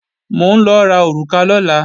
Mò ń lọ ra òrùka lọ́la